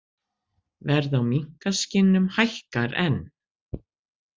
Verð á minkaskinnum hækkar enn